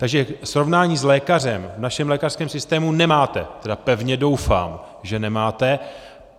Takže srovnání s lékařem v našem lékařském systému nemáte, tedy pevně doufám, že nemáte.